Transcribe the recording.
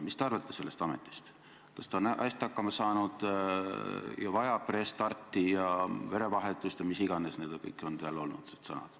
Mis te arvate sellest ametist, kas ta on hästi hakkama saanud, kas ta vajab restarti ja verevahetust ja mis iganes on olnud kõik need sõnad?